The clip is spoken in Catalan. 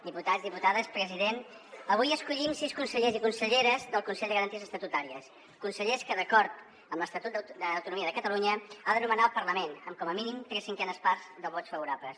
diputats diputades president avui escollim sis consellers i conselleres del consell de garanties estatutàries consellers que d’acord amb l’estatut d’autonomia de catalunya ha de nomenar el parlament amb com a mínim tres cinquenes parts de vots favorables